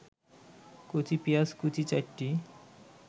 কচি পেঁয়াজ কুচি ৪টি